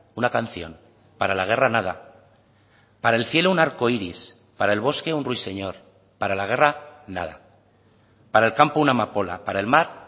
una canción para la guerra nada para el cielo un arcoíris para el bosque un ruiseñor para la guerra nada para el campo una amapola para el mar